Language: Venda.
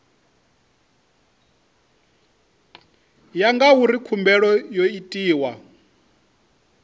ya ngauri khumbelo yo itwa